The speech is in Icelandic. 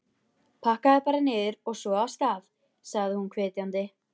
Pakkaðu bara niður, og svo af stað! sagði hún hvetjandi.